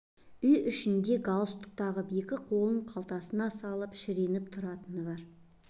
үй ішінде де галстук тағып екі қолын қалтасына салып шіреніп тұратыны бар